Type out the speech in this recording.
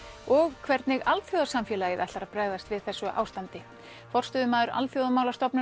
og hvernig alþjóðasamfélagið ætlar að bregðast við þessu ástandi forstöðumaður Alþjóðamálastofnunar